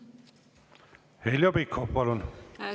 Heljo Pikhof, palun!